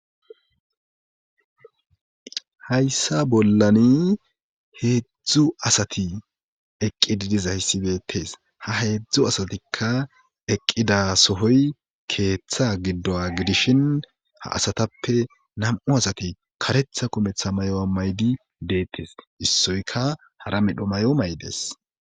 hayssa bollani heedzdzu asati eqqi didizayssibetees ha heedzdzu asatikka eqqida sohoy keeththa giddo gidishin ha asatappe nam7u asati karetha kumetha may7o a maydi deettes issoyka hara medho may7o maydes